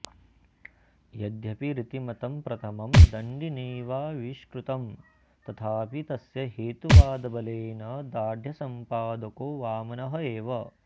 यद्यपि रीतिमतं प्रथमं दण्डिनैवाऽऽविष्कृतं तथापि तस्य हेतुवादबलेन दार्ढ्यसम्पादको वामनः एव